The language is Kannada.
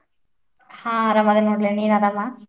ಹಾ ಆರಾಮದೇನಿ ನೋಡ್ಲೆ, ನೀನ್ ಆರಾಮಾ?